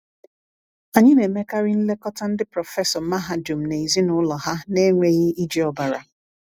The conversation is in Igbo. Anyị na-emekarị nlekọta ndị prọfesọ mahadum na ezinụlọ ha n’enweghị iji ọbara.